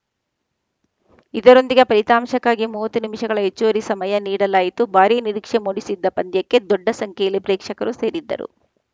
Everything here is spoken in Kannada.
ಇದರೊಂದಿಗೆ ಫಲಿತಾಂಶಕ್ಕಾಗಿ ಮೂವತ್ತು ನಿಮಿಷಗಳ ಹೆಚ್ಚುವರಿ ಸಮಯ ನೀಡಲಾಯಿತು ಭಾರೀ ನಿರೀಕ್ಷೆ ಮೂಡಿಸಿದ್ದ ಪಂದ್ಯಕ್ಕೆ ದೊಡ್ಡ ಸಂಖ್ಯೆಯಲ್ಲಿ ಪ್ರೇಕ್ಷಕರು ಸೇರಿದ್ದರು